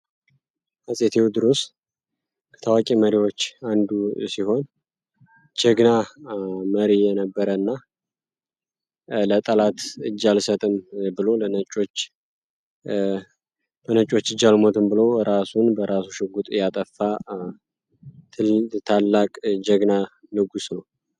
ሐጽቴው ድሩስ ከታዋቂ መሪዎች አንዱ ሲሆን ጀግና መሪ የነበረ እና ለጠላት እጃልሰትም ብሎ በነቾች እጃልሞትን ብሎ እራሱን በራሱ ሽጉጥ ያጠፋ ታላቅ ጀግና ልጉስ ነው።